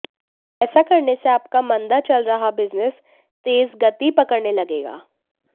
ऐसा करने से आपका मंदा चल रहा बिजनेस तेज गति पकड़ने लगेगा